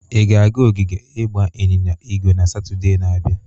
Ị ga-aga ogige ịgba ịnyịnya ígwè na Satọde na-abịa?